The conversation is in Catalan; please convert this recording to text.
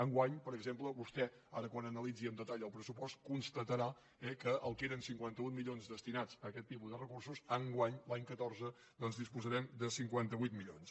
enguany per exemple vostè ara quan analitzi el pressupost constatarà que el que eren cinquanta un milions destinats a aquest tipus de recursos enguany l’any catorze doncs disposarem de cinquanta vuit milions